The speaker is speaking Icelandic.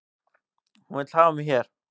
Hún vill hafa mig hér